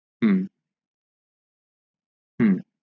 হু হু